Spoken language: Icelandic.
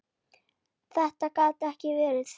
Þetta gat ekki verið!